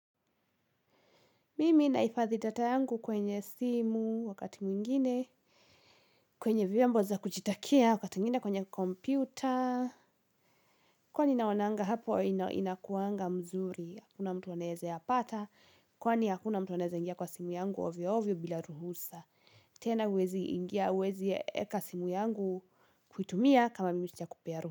Mimi naifadhi data yangu kwenye simu wakati mwingine, kwenye viombo za kuchitakia, wakati mwingine kwenye kompyuta. Kwani naonanga hapo inakuanga mzuri, hakuna mtu aneze yapata, kwani hakuna mtu aneze ingia kwa simu yangu ovyo ovyo bila ruhusa. Tena wezi ingia, wezi eka simu yangu kuitumia kama mimi sijakupea roho.